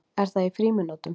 Er það í frímínútum?